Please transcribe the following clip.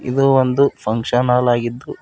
ಇದು ಒಂದು function hall ಆಗಿದ್ದು--